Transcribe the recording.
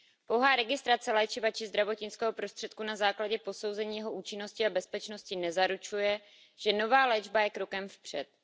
Pouhá registrace léčiva či zdravotnického prostředku na základě posouzení jeho účinnosti a bezpečnosti nezaručuje, že nová léčba je krokem vpřed.